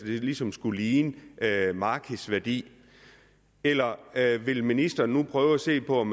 det ligesom skulle ligne markedsværdien eller vil ministeren nu prøve at se på om